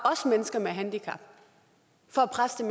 mennesker med handicap for at presse